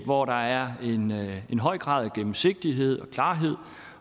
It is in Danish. hvor der er en høj grad af gennemsigtighed og klarhed